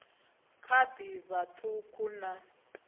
kha ḓi vha ṱhukhu na